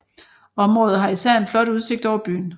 Området har især en flot udsigt over byen